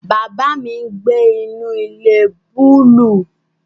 Baba mi ngbe inu ile buluu